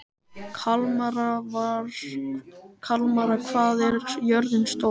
Kalmara, hvað er jörðin stór?